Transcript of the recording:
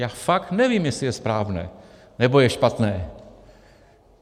Já fakt nevím, jestli je správné, nebo je špatné.